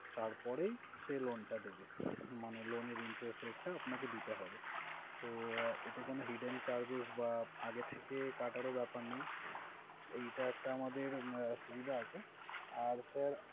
তারপরেই সে loan টা দিবে, মানে loan এর interest rate টা আপনাকে দিতে হবে। তো এটা কোনো hidden charges বা আগে থেকে কাটার ও ব্যাপার নেই। এইটা একটা আমাদের সুবিধা আছে। আর sir